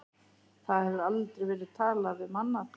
Það hefur aldrei verið talað um annað!